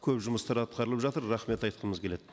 көп жұмыстар атқарылып жатыр рахмет айтқымыз келеді